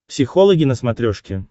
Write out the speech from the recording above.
психологи на смотрешке